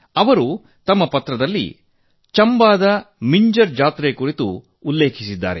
ಅವರು ತಮ್ಮ ಪತ್ರದಲ್ಲಿ ಚಂಬಾದ ಮಿಂಜರ್ ಮೇಳ ಕುರಿತು ಉಲ್ಲೇಖಿಸಿದ್ದಾರೆ